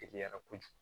Teliyara kojugu